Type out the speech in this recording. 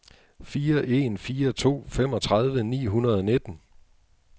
fire en fire to femogtredive ni hundrede og nitten